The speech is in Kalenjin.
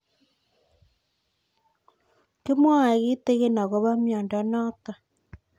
Kimwae kitig'in akopo miondo notok